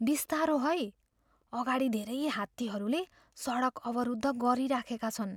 बिस्तारो है। अगाडि धेरै हात्तीहरूले सडक अवरुद्ध गरिराखेका छन्।